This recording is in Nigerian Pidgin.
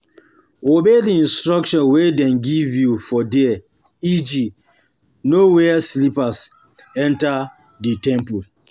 Obey di instruction wey dem give you for there e.g no wear slippers enter di temple